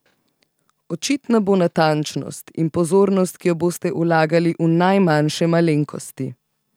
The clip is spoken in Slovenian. Očitna bo natančnost in pozornost, ki jo boste vlagali v najmanjše malenkosti.